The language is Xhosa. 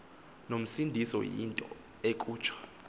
nomsindo into ekutsho